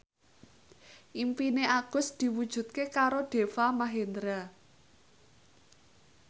impine Agus diwujudke karo Deva Mahendra